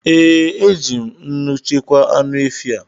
Ee, eji m nnu chekwaa anụ efi a